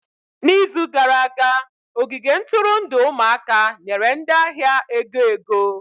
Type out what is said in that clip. N'izu gara aga, ogige nturundu ụmụaka nyere ndị ahịa ego ego.